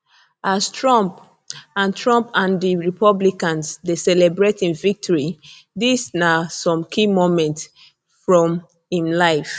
as trump and trump and di republicans dey celebrate im victory dis na some key moments from im life